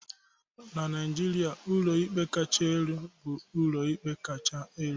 na Naijiria, ụlọikpe kacha elu bụ ụlọikpe kacha elu